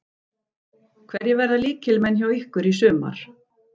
Hverjir verða lykilmenn hjá ykkur í sumar?